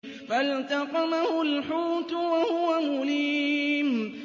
فَالْتَقَمَهُ الْحُوتُ وَهُوَ مُلِيمٌ